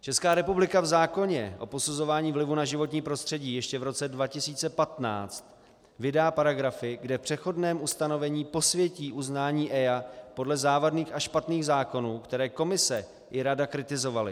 Česká republika v zákoně o posuzování vlivu na životní prostředí ještě v roce 2015 vydá paragrafy, kde v přechodném ustanovení posvětí uznání EIA podle závadných a špatných zákonů, které Komise i Rada kritizovaly.